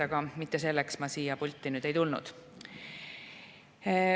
Aga mitte selleks ma siia pulti ei tulnud.